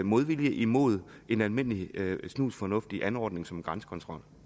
modvilje imod en almindelig snusfornuftig anordning som en grænsekontrol